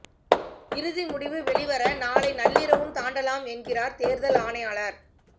இறுதி முடிவு வெளிவர நாளை நள்ளிரவும் தாண்டலாம் என்கிறார் தேர்தல் ஆணையாளர்